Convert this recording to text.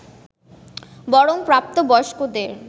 বরং প্রাপ্ত বয়স্কদের